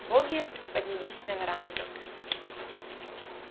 боги поднялись на веранду